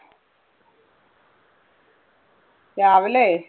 രാവിലെ.